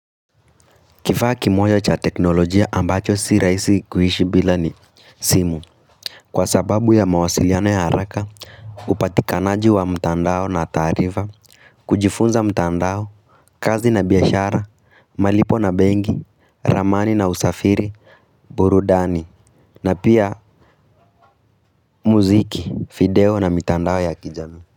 Kifaa kimoja cha teknolojia ambacho si rahisi kuhishi bila ni simu, kwa sababu ya mawasiliana ya haraka upatikanaji wa mtandao na taarifa kujifunza mtandao, kazi na biashara, malipo na benki, ramani na usafiri, burudani na pia muziki, video na mitandao ya kijamii.